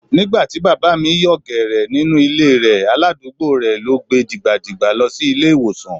Nígbà tí Bàbá mi yòò gẹ̀rẹ̀ nínú ilé e rẹ̀, aládùúgbò rẹ̀ ló gbe dìgbà dìgbà lọ sí ilé ìwòsàn.